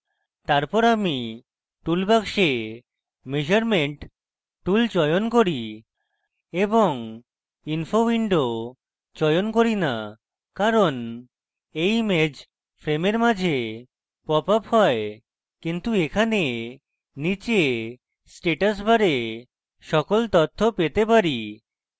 তারপর আমি toolbox measurement tool চয়ন করি এবং info window চয়ন করি না কারণ এই image frame মাঝে pops up হয় কিন্তু এখানে নীচে status bar সকল তথ্য পেতে পারি